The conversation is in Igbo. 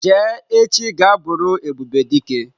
Jee echi ga buru Ebubedike!